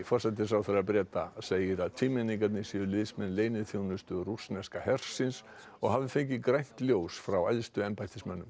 forsætisráðherra Breta segir að tvímenningarnir séu liðsmenn leyniþjónustu rússneska hersins og hafi fengið grænt ljós frá æðstu embættismönnum